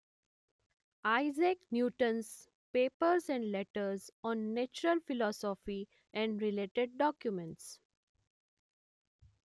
Isaac Newton's papers and letters on natural philosophy and related documents